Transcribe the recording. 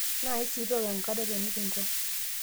Naisi tooko enkare nekincho